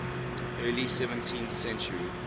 early seventeenth century